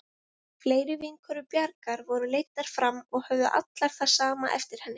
Fleiri vinkonur Bjargar voru leiddar fram og höfðu allar það sama eftir henni.